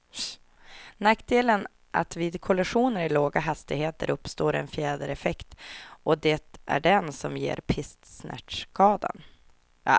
Nackdelen är att vid kollisioner i låga hastigheter uppstår en fjädereffekt, och det är den som ger pisksnärtskadan.